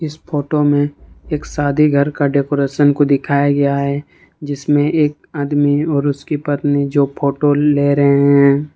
इस फोटो में एक शादी घर का डेकोरेशन को दिखाया गया है जिसमें एक आदमी और उसकी पत्नी जो फोटो ले रहे हैं।